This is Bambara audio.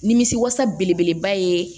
Nimisi wasa belebeleba ye